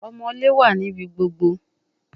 Omoole wa nibi gbogbo